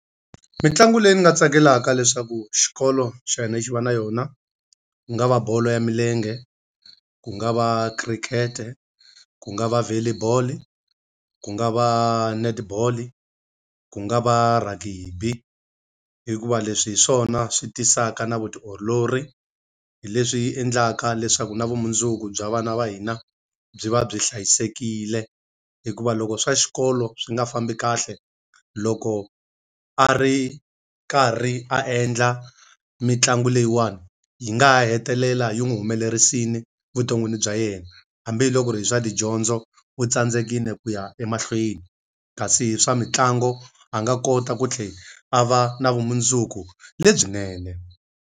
Mitlangu leyi ni nga tsakelaka leswaku xikolo xa hina xi va na yona, ku nga va bolo ya milenge, ku nga va khirikhete, ku nga va volley boll, ku nga va netball, ku nga va rugby. Hikuva leswi hi swona swi tisaka na vutiolori, hi leswi endlaka leswaku na vumundzuku bya vana va hina byi va byi hlayisekile. Hikuva loko swa xikolo swi nga fambi kahle, loko a ri karhi a endla mitlangu leyiwani, yi nga ha hetelela yi n'wi humelerisile vuton'wini bya yena. Hambi hi loko ku ri hi swa tidyondzo u tsandzekile ku ya emahlweni, kasi swa mitlangu a nga kota ku tlhela a va na vumundzuku lebyinene.